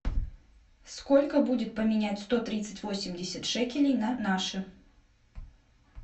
сколько будет поменять сто тридцать восемьдесят шекелей на наши